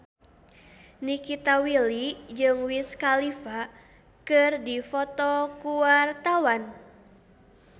Nikita Willy jeung Wiz Khalifa keur dipoto ku wartawan